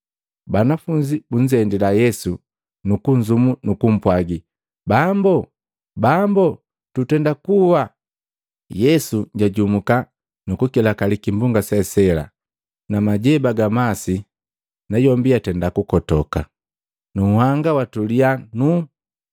Banafunzi bunzendila Yesu nukunzumu nu kumpwaji, “Bambo, Bambo! Tutenda kuwa!” Yesu jajumuka nu kukilakali kimbonga se sela na majeba ga masi, nayombi yatenda kukotoka. Nunhanga watulia nuuu.